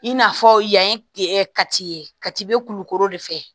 I n'a fɔ yan ye ɛ kati ye katibɛ kulukoro de fɛ